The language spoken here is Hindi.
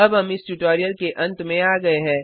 अब हम इस ट्यूटोरियल के अंत में आ गए है